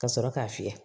Ka sɔrɔ k'a fiyɛ